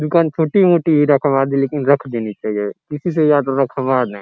दुकान छोटी-मोटी ही रखवा दे लेकिन रख देनी चाहिए किसी से या तो रखवा दें।